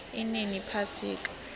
inini iphasika